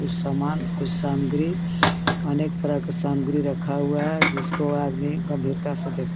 कुछ सामान कुछ सामग्री अनेक तरह का सामग्री रखा हुआ हे जिसको आदमी गंभीरता से देख रहा हे.